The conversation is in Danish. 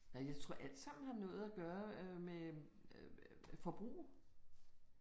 Nej, jeg tror alt sammen har noget at gøre øh med øh forbrug